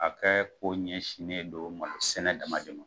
A ka ko ɲɛsinnen don malosɛnɛ dama de ma